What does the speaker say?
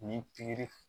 Ni pikiri